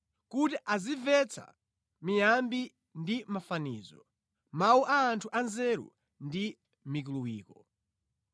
kuti azimvetsa miyambi ndi mafanizo, mawu a anthu anzeru ndi mikuluwiko.